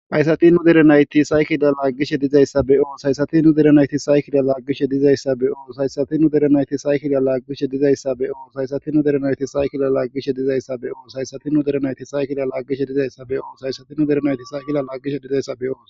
Hayisati nu derenayti saykida laaggishe dizayssa be'oo saysatinu derenayti saykiliya laaggishe dizayssa beyoo saysatiu derenayti saykiliya laaggishe dizayssa beoo saysatinu derenayti saykida laaggishe dizayssa be'oo saysatinu derenayti saykilya laaggishe dizayssa be oo saysatinu derenayti saykila laaggishe dizayssa beo